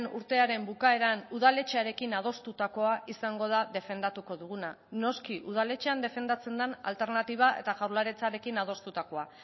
urtearen bukaeran udaletxearekin adostutakoa izango da defendatuko duguna noski udaletxean defendatzen den alternatiba eta jaurlaritzarekin adostutakoa